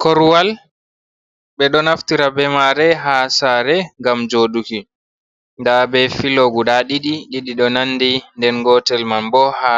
Korowal be ɗo naftira be mare ha sare ngam joduki. Nda be filo guɗa ɗiɗi, ɗiɗo nanɗi. Nda gotel man bo ha